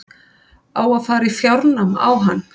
Á að fara í fjárnám á hann?